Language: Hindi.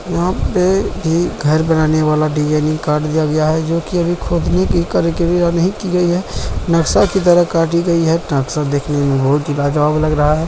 यहाँ पे एक घर बनाने वाला डिज़ाइनिंग कार्ड दिया गया है जो की अभी खोदने की कारीगिरी यहाँ नहीं की गई है | नाक्शा की तरह काटी गई है नाक्शा देखने में बहोत ही लाजवाब लग रहा है।